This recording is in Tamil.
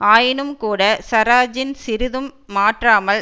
ஆயினும் கூட சராஜின் சிறிதும் மாற்றாமல்